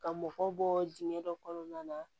Ka mɔgɔ bɔ diɲɛ dɔ kɔnɔna na